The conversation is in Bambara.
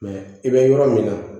i bɛ yɔrɔ min na